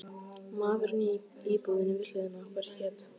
Maðurinn í íbúðinni við hliðina á okkur hét